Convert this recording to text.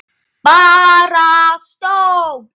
Bara stóll!